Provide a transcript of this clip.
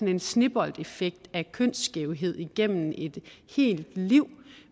en sneboldeffekt af kønsskævhed igennem et helt liv